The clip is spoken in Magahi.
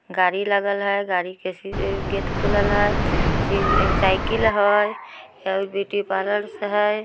गाड़ी लगल है। गाड़ी के सी गेट खुलल हेय। फिर एक साइकिल है ब्यूटी पार्लर है।